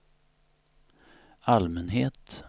allmänhet